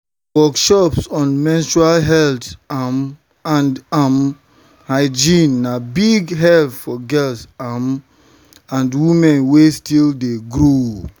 workshops on menstrual health um and um hygiene na big help for girls um and women wey still dey grow.